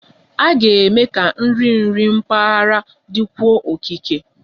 A ga-eme ka nri nri mpaghara dịkwuo okike